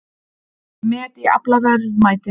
Met í aflaverðmæti